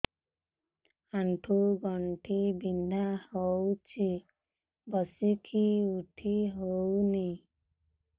ଆଣ୍ଠୁ ଗଣ୍ଠି ବିନ୍ଧା ହଉଚି ବସିକି ଉଠି ହଉନି